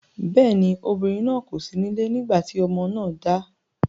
Bẹ́ẹ̀ ni, obìnrin náà kò sí nílé nígbà tí ọmọ náà dà.